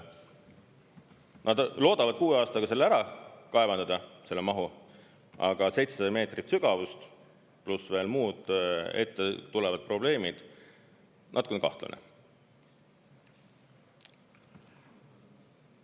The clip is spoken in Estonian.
Nad loodavad kuue aastaga selle ära kaevandada, selle mahu, aga 700 meetrit sügavust, pluss veel muud ette tulevad probleemid – natukene kahtlane!